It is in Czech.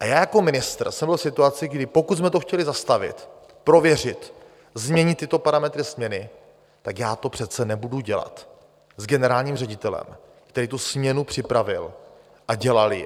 A já jako ministr jsem byl v situaci, kdy pokud jsme to chtěli zastavit, prověřit, změnit tyto parametry směny, tak já to přece nebudu dělat s generálním ředitelem, který tu směnu připravil a dělal ji.